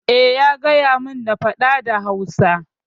Eh, ya gayamin na faɗa da Hausa.